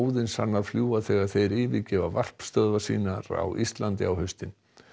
óðinshanar fljúga þegar þeir yfirgefa varpstöðvar sínar á Íslandi á haustin